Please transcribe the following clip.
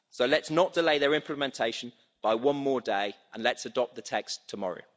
So let's not delay their implementation by one more day and let's adopt the text tomorrow.